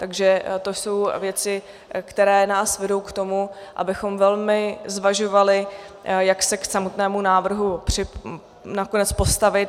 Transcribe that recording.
Takže to jsou věci, které nás vedou k tomu, abychom velmi zvažovali, jak se k samotnému návrhu nakonec postavit.